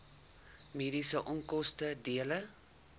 mediese onkoste dele